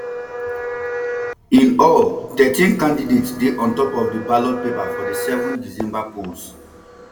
in all thirteen candidates dey on top of di ballot paper for di seven december polls